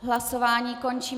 Hlasování končím.